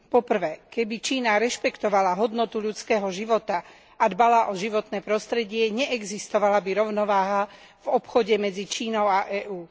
Po prvé, keby Čína rešpektovala hodnotu ľudského života a dbala o životné prostredie, neexistovala by rovnováha v obchode medzi Čínou a EÚ.